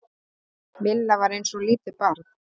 Milla var eins og lítið barn.